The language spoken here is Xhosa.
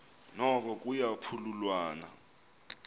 noko kuya phululwana